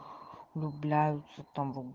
влюбляются там